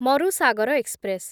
Marusagar express